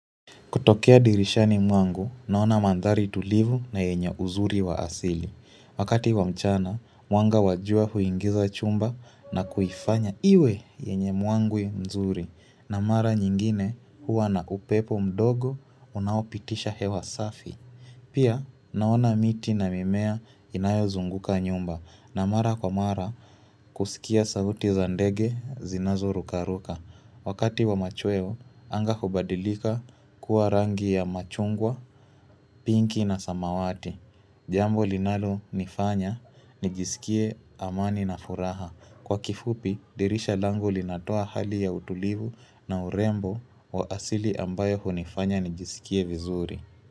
Kutokea dirishani mwangu, naona mandhari tulivu na yenye uzuri wa asili. Wakati wa mchana, mwanga wa jua huingiza chumba na kuifanya iwe yenye mwangwi mzuri. Na mara nyingine huwa na upepo mdogo unaopitisha hewa safi. Pia, naona miti na mimea inayo zunguka nyumba. Na mara kwa mara, kusikia sauti zandege zinazo rukaruka. Wakati wa machweo, anga hubadilika kuwa rangi ya machungwa, pinki na samawati. Jambo linalo nifanya, nijisikie amani na furaha. Kwa kifupi, dirisha langu linatoa hali ya utulivu na urembo wa asili ambayo hunifanya nijisikie vizuri.